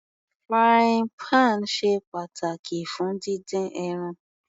Frying pan ṣe pàtàkì fún dídín ẹran.